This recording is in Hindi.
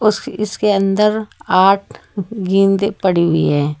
इस इसके अंदर आठ गेंदे पड़ी हुई हैं।